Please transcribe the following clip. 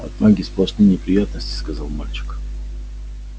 от магии сплошные неприятности сказал мальчик